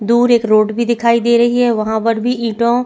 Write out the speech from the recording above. दूर एक रोड भी दिखाई दे रही है वहाँ पर भी इटो--